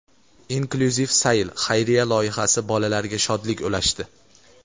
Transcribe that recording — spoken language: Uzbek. "Inklyuziv sayl" xayriya loyihasi bolalarga shodlik ulashdi.